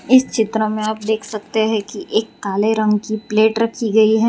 इस चित्र में आप देख सकते हैं कि एक काले रंग की प्लेट रखी गई है।